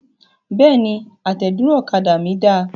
Bẹ́ẹ̀ni, àtẹ̀dúró ọ̀kadà mí da.